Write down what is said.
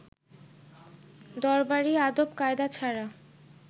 দরবারী আদব-কায়দা ছাড়া